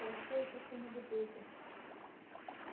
хорошо ещё что не бутылку